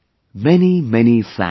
Many many thanks